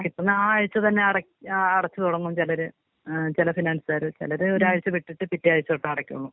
കിട്ടുന്ന ആ ആയ്ച്ച തന്നെ അടച്ച് അടച്ചു തൊടങ്ങും ചെലര് ഏ ചെല ഫിനാൻസേര് ചിലത് ഒരാഴ്ച്ച വിട്ടിട്ട് പിറ്റേ ആഴ്ച്ച തൊട്ട് അടക്കണം.